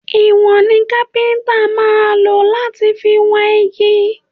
Ìwọ̀n ni kápẹ́ntà máa lò láti fi wọn igi